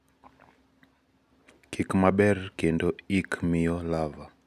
kik maber kendo ik miyo larvae